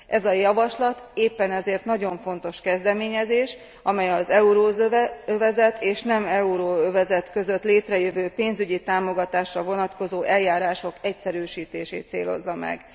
Ez a javaslat éppen ezért nagyon fontos kezdeményezés, amely az euróövezet és nem euróövezet között létrejövő pénzügyi támogatásra vonatkozó eljárások egyszerűsítését célozza meg.